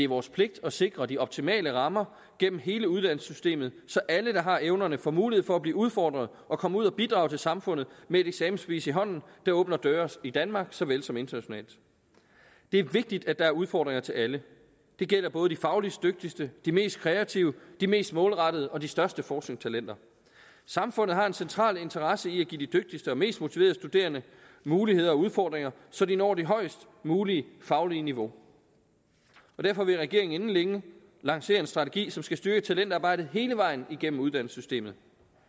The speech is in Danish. vores pligt at sikre de optimale rammer gennem hele uddannelsessystemet så alle der har evnerne får mulighed for at blive udfordret og komme ud og bidrage til samfundet med et eksamensbevis i hånden der åbner døre i danmark såvel som internationalt det er vigtigt at der er udfordringer til alle det gælder både de fagligst dygtigste de mest kreative de mest målrettede og de største forskningstalenter samfundet har en central interesse i at give de dygtigste og mest motiverede studerende muligheder og udfordringer så de når det højest mulige faglige niveau derfor vil regeringen inden længe lancere en strategi som skal styrke talentarbejdet hele vejen igennem uddannelsessystemet